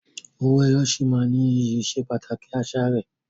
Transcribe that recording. Owó ẹyọ sì máa ní iyì ìsepàtàkì àṣà rẹ.